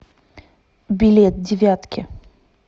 билет девятки